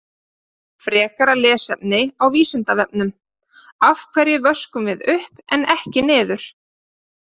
Frekara lesefni á Vísindavefnum: Af hverju vöskum við upp en ekki niður?